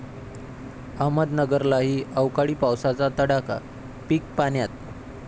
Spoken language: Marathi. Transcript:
अहमदनगरलाही अवकाळी पावसाचा तडाखा, पिकं पाण्यात!